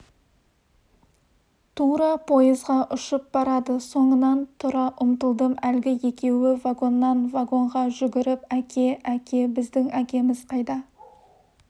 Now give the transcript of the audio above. тура пойызға ұшып барады соңынан тұра ұмтылдым әлгі екеуі вагоннан-вагонға жүгіріп әке әке біздің әкеміз қайда